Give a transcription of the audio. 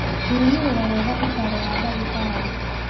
kũrũmĩrĩra wega ũtaaro wa ndagĩtarĩ